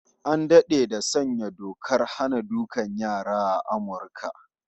An dade da sanya dokar hana dukan yara a Amurka